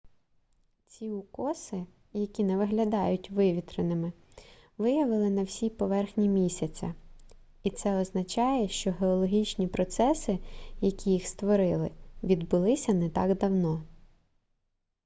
ці укоси які не виглядають вивітреними виявили на всій поверхні місяця і це означає що геологічні процеси які їх створили відбулися не так давно